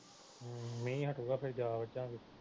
ਹਮ ਮੀਂਹ ਹੱਟੇਗਾ ਫਿਰ ਜਾ ਵੱਜਾਗੇ